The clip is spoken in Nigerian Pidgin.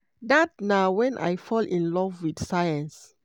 "dat na wen i fall in love wit science."